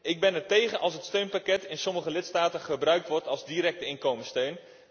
Ik ben ertegen als het steunpakket in sommige lidstaten gebruikt wordt als directe inkomenssteun.